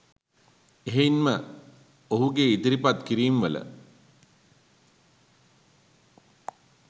එහෙයින් ම ඔහුගේ ඉදිරිපත් කිරීම්වල